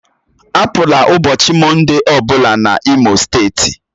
Apụla ụbọchị Mọnde ọbụla n'Imo steeti!